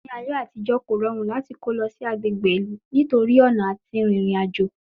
Ní ayé àtijọ́, kò rọrùn láti kó lọ sí agbègbè ìlú nítorí ọ̀nà àti rin ìrìn àjò